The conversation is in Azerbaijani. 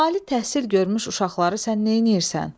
Ali təhsil görmüş uşaqları sən neynəyirsən?